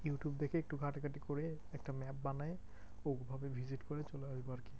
কিন্তু দেখি একটু ঘাঁটাঘাঁটি করে একটা map বানাই visit করেই চলে আসবো আরকি।